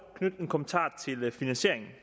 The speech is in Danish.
knytte en kommentar til finansieringen